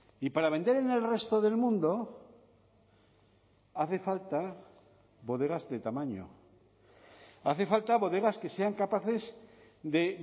y para vender en el resto del mundo hace falta bodegas de tamaño hace falta bodegas que sean capaces de